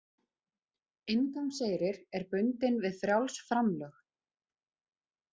Inngangseyrir er bundinn við frjáls framlög